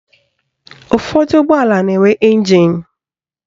Ụfọdụ ụgbọala na-enwe ịnjin